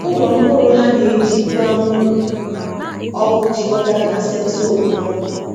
Ụlọ mkpụrụ ha na-eji igwe anwụrụ ọkụ jikọtara na sensọ okpomọkụ.